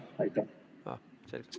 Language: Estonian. Aitäh!